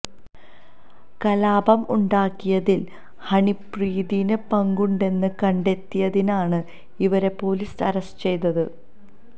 കലാപം ഉണ്ടാക്കിയതില് ഹണിപ്രീതിന് പങ്കുണ്ടെന്ന് കണ്ടെത്തിയതിനാണ് ഇവരെ പൊലീസ് അറസ്റ്റ് ചെയ്തത്